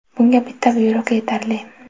Bunga bitta buyruq yetarli.